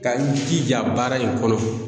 Ka n jija baara in kɔnɔ.